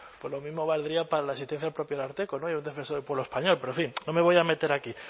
pues lo mismo valdría para la asistencia al propio ararteko defensor del pueblo español pero en fin no me voy a meter aquí